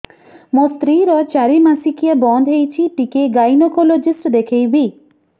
ମୋ ସ୍ତ୍ରୀ ର ଚାରି ମାସ ମାସିକିଆ ବନ୍ଦ ହେଇଛି ଟିକେ ଗାଇନେକୋଲୋଜିଷ୍ଟ ଦେଖେଇବି